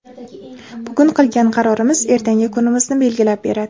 Bugun qilgan qarorimiz ertangi kunimizni belgilab beradi.